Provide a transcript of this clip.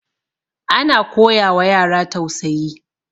ana koyawa yara tausayi